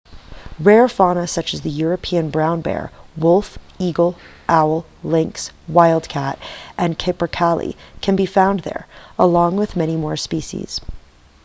rare fauna such as the european brown bear wolf eagle owl lynx wild cat and capercaillie can be found there along with many more common species